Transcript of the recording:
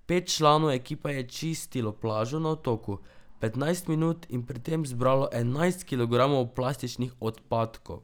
Pet članov ekipe je čistilo plažo na otoku petnajst minut in pri tem zbralo enajst kilogramov plastičnih odpadkov.